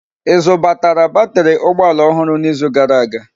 Ị zutara batrị ụgbọ ala ọhụrụ n'izu gara aga?